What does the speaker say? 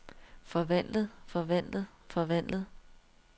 forvandlet forvandlet forvandlet